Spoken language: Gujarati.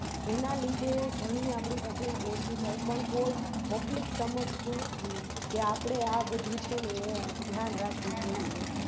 એના લીધે ઘણી આપની Public અઓછી થાય પણ કોય Public સમજતી નથી કે આપણે આ બધું છે ને ધ્યાન રાખવું જોઈએ